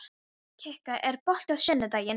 Kikka, er bolti á sunnudaginn?